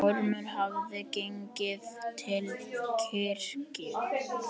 Ormur hafði gengið til kirkju.